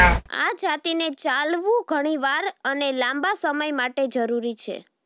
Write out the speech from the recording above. આ જાતિને ચાલવું ઘણી વાર અને લાંબા સમય માટે જરૂરી છે